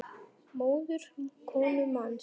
móðir konu manns